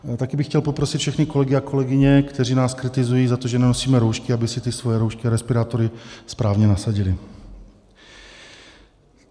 Také bych chtěl poprosit všechny kolegy a kolegyně, kteří nás kritizují za to, že nenosíme roušky, aby si ty svoje roušky a respirátory správně nasadili.